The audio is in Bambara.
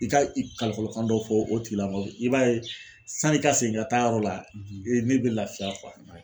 I ka i kalikɔlɔkan dɔ fɔ o tigilamɔgɔ bɛ i b'a ye sanni i ka segin ka taa a yɔrɔ la ne be lafiya